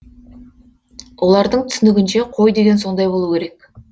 олардың түсінігінше қой деген сондай болу керек